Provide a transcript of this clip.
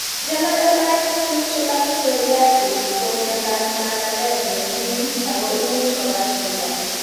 Generalized pustular psoriasis ko myondab magatet nekim ako imuch kobar chito